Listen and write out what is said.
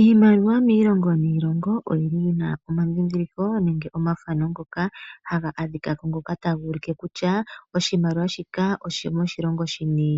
Iimaliwa miilongo niilongo oyi likolwa momapya nomiikunino yi na omandhindhiliko nenge omafano ngoka taga adhika ko ngoka taga ulike kutya oshimaliwa shika osho moshilongo shini.